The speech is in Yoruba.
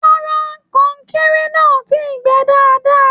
Rárá, kọnkéré náà o tíi gbẹ́ dáadáa.